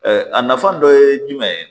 a nafa dɔ ye jumɛn ye